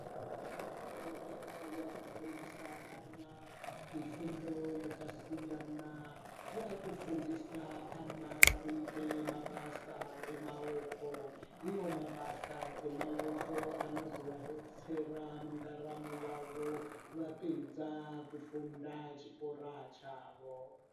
Fundo yepadera-dera yakufundisa ana mifundo yakasiyana. Yakufundisa ana kuite mabasa emaoko. Iwo mabasa emaoko anozovadetsera mundaramo yavo vapedza kufunda chikora chavo.